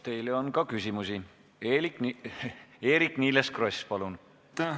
Teile on ka küsimusi, Eerik-Niiles Kross, palun!